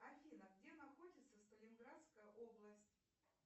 афина где находится сталинградская область